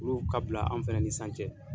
Olu ka bila anw fɛnɛ ni san cɛ.